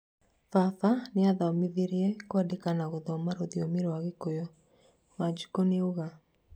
"baba nĩathomithirie kũandika na gũthoma rũthiomi rwa gĩkũyũ," wanjiku niauga